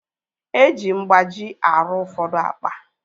Eji mgbaji arụ ụfọdụ akpa